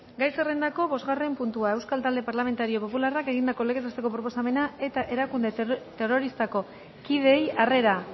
gai zerrendako bosgarren puntua euskal talde parlamentario popularrak egindako legez besteko proposamena eta erakunde terroristako kideei harrera